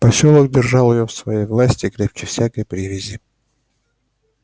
посёлок держал её в своей власти крепче всякой привязи